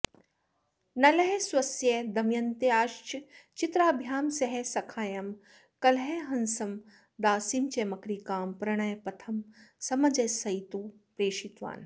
नलः स्वस्य दमयन्त्याश्च चित्राभ्यां सह सखायं कलहसं दासीं च मकरिकां प्रणयपथं समञ्जसयितुं प्रेषितवान्